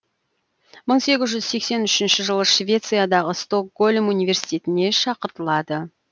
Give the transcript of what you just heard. мың сегіз жүз сексен үшінші жылы швециядағы стокгольм университетіне шақыртылады